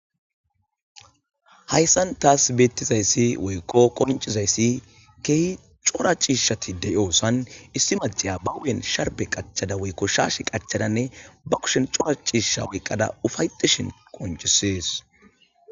Hayssan taas beettizayssi woykko qoncizayssi keehi cora ciishatidey dososan issi maciya ba wen sharbe qachada woykko shaashe qachadanne ba kushen cora ciisha woyqqada ufayetishin qoncisees